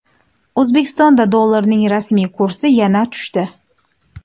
O‘zbekistonda dollarning rasmiy kursi yana tushdi.